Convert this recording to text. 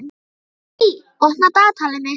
Bettý, opnaðu dagatalið mitt.